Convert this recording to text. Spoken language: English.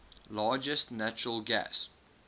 largest natural gas